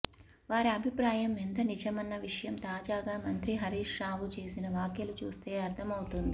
వారి అభిప్రాయం ఎంత నిజమన్న విషయం తాజాగా మంత్రి హరీశ్ రావు చేసిన వ్యాఖ్యలు చూస్తే అర్థమవుతుంది